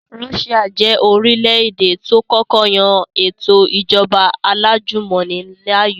Russia jẹ́ orílẹ̀-èdè tó kọ́kọ́ yan ètò ìjọba alájùmọ̀ni láàyò